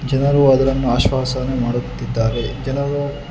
ಏನಾರೂ ಅದ್ರನ್ನು ಆಶ್ವಾಸನೆ ಮಾಡುತ್ತಿದ್ದಾರೆ ಜನರು--